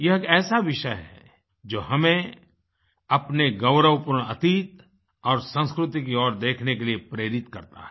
यह एक ऐसा विषय है जो हमें अपने गौरवपूर्ण अतीत और संस्कृति की ओर देखने के लिए प्रेरित करता है